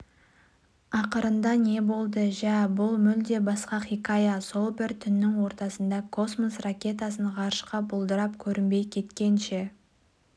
ақырында не болды жә бұл мүлде басқа хикая сол бір түннің ортасында космос ракетасын ғарышқа бұлдырап көрінбей кеткенше